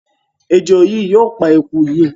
Ejò yìí yóò pa eku yìí.